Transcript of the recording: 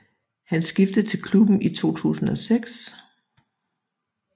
Han skiftede til klubben i 2006